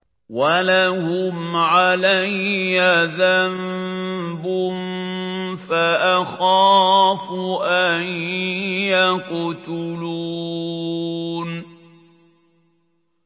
وَلَهُمْ عَلَيَّ ذَنبٌ فَأَخَافُ أَن يَقْتُلُونِ